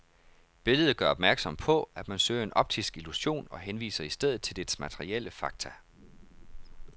Billedet gør opmærksom på at man søger en optisk illusion og henviser i stedet til dets materielle fakta.